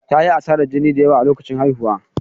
Ta yi asarar jini da yawa a lokacin haihuwa.